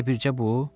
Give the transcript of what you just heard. Elə bircə bu?